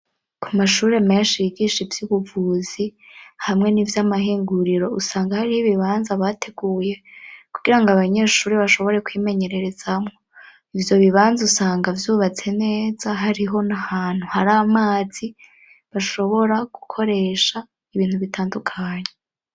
Ku mashure menshi yigisha ivy'ubuvuzi hamwe n'ivyamahenguriro usanga hariho ibibanza bateguye kugira ngo abanyeshure bashobore kwimenyererezamwo, ivyo bibanza usanga vyubatse neza hariho n'ahantu hari amazi bashobora gukoresha ibintu bitandukanye.